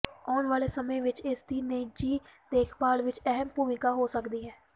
ਆਉਣ ਵਾਲੇ ਸਮੇਂ ਵਿਚ ਇਸ ਦੀ ਨਿੱਜੀ ਦੇਖਭਾਲ ਵਿਚ ਅਹਿਮ ਭੂਮਿਕਾ ਹੋ ਸਕਦੀ ਹੈ